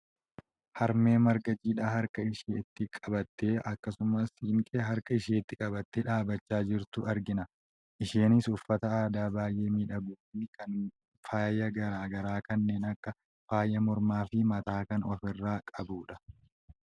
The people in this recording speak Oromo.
harmee marga jiidhaa harka isheetti qabattee akkasumas siinqee harka isheetti qabattee dhaabbachaa jirtu argina . isheenis uffata aadaa baayyee miidhaguufi kan faaya gara garaa kanneen akka faaya mormaa fi mataa kan ofirraa qabdudha.